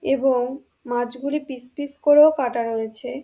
এবং মাছগুলি piece piece করেও কাটা রয়েছে।